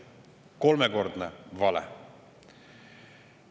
" Kolmekordne vale!